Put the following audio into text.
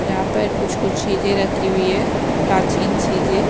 यहाँ पर कुछ-कुछ चीजें रखी हुई है प्राचीन चीजें--